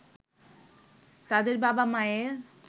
তাদের বাবা-মায়ের